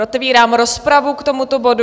Otevírám rozpravu k tomuto bodu.